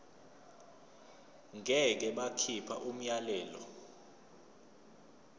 ngeke bakhipha umyalelo